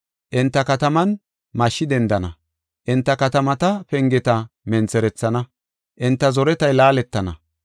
Enta kataman mashshi dendana; enta katamata pengeta mentherethana; enta zoretay laaletana.